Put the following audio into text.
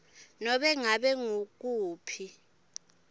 nobe ngabe ngukuphi